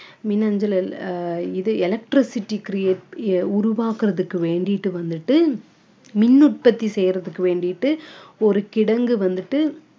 மின்னஞ்சல் ஆஹ் இது electricity create உருவாக்கறதுக்கு வேண்டிட்டு வந்துட்டு மின் உற்பத்தி செய்யறதுக்கு வேண்டிட்டு ஒரு கிடங்கு வந்துட்டு